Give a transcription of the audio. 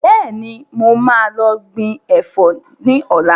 Bẹ́ẹ̀ni, mo máa lọ gbìn Ẹ̀fọ́ ni ọ̀la.